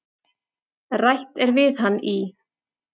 Rætt er við hann í